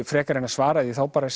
frekar en að svara því þá bara